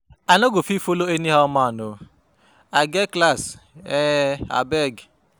I no go fit follow anyhow man um, I get class um abeg